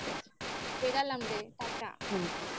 বেড়ালাম রে. টাটা.